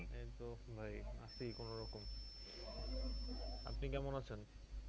এইতো ভাই আছি কোনোরকম আপনি কেমন আছেন?